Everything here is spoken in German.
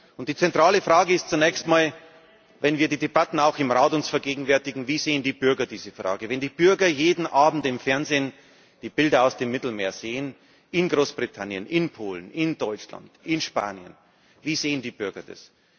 Und die zentrale Frage ist zunächst einmal, auch wenn wir uns die Debatten im Rat vergegenwärtigen Wie sehen die Bürger diese Frage? Wenn die Bürger jeden Abend im Fernsehen die Bilder aus dem Mittelmeer sehen in Großbritannien, in Polen, in Deutschland, in Spanien Wie sehen die Bürger das?